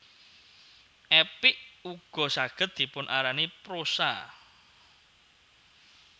Epik ugo saged dipun arani prosa